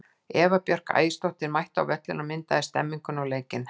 Eva Björk Ægisdóttir mætti á völlinn og myndaði stemmninguna og leikinn.